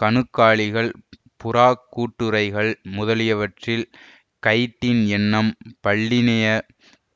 கணுக்காலிகள் புறாக்கூட்டுறைகள் முதலியவற்றில் கைட்டின் என்னும் பல்லினியப்